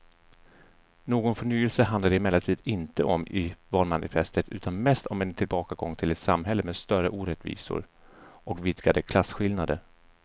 Någon förnyelse handlar det emellertid inte om i valmanifestet utan mest om en tillbakagång till ett samhälle med större orättvisor och vidgade klasskillnader.